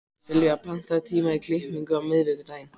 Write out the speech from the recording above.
Sylvía, pantaðu tíma í klippingu á miðvikudaginn.